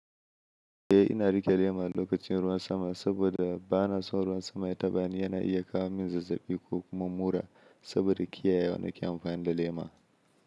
Eh ina riƙe lema lokacin ruwan sama saboda bana son ruwan sama ya taɓa ni. Yana iya kawo min zazzaɓi ko kuma mura saboda kiyaye wa nake amfani da lema.